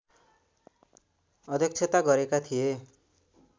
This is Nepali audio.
अध्यक्षता गरेका थिए